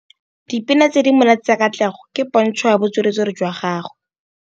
Dipina tse di monate tsa Katlego ke pôntshô ya botswerere jwa gagwe.